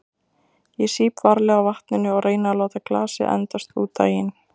Ég sýp varlega á vatninu og reyni að láta glasið endast út daginn.